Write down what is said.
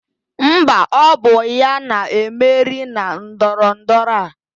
Mba, ọ bụ ya na-emeri na ndọrọndọrọ a.